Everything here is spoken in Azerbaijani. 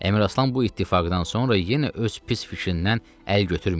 Əmiraslan bu ittifaqdan sonra yenə öz pis fikrindən əl götürməyib.